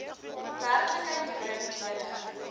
werklikheid bring julle